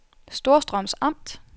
Storstrøms Amt